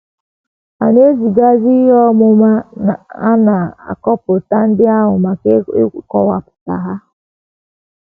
A na - ezigazi ihe ọmụma a na kọmputa ndị ahụ maka ịkọwapụta ha.